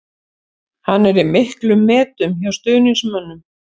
Hann er í miklum metum hjá stuðningsmönnum.